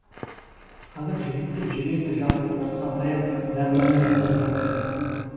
қазір жігіттер жүреді жасы отызға таяп нәрмәлні қыз жоқ деп